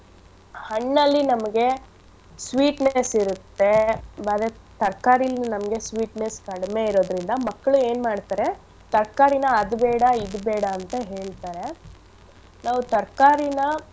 ಹಣ್ಣಲ್ಲಿ ನಮ್ಗೆ sweetness ಇರತ್ತೆ ಬರೆದ್ ತರ್ಕಾರಿಲ್ ನಮ್ಗೆ sweetness ಕಡ್ಮೆ ಇರೋದ್ರಿಂದ ಮಕ್ಳು ಏನ್ಮಾಡ್ತರೆ ತರ್ಕಾರಿನ ಅದು ಬೇಡ ಇದು ಬೇಡ ಅಂತ ಹೇಳ್ತರೆ ನಾವು ತರ್ಕಾರಿನ.